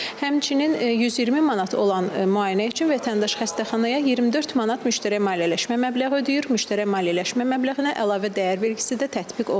Həmçinin 120 manat olan müayinə üçün vətəndaş xəstəxanaya 24 manat müştərək maliyyələşmə məbləği ödəyir, müştərək maliyyələşmə məbləğinə əlavə dəyər vergisi də tətbiq olunur.